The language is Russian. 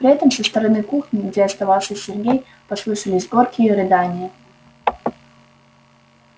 при этом со стороны кухни где оставался сергей послышались горькие рыдания